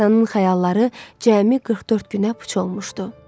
Ermənistanın xəyalları cəmi 44 günə puç olmuşdu.